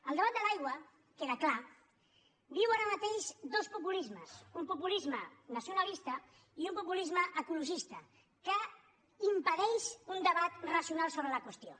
el debat de l’aigua queda clar viu ara mateix dos populismes un populisme nacionalista i un populisme ecologista que impedeix un debat racional sobre la qüestió